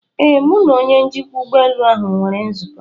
Ee, Mụ na onye njikwa ụlọ ụgbọelu ahụ nwere nzukọ.